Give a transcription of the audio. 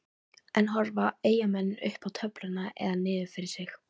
En horfa Eyjamenn upp töfluna eða niður fyrir sig?